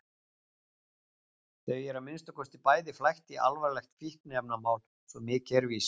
Þau eru að minnsta kosti bæði flækt í alvarlegt fíkniefnamál, svo mikið er víst.